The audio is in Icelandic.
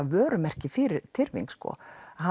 vörumerki fyrir tyrfing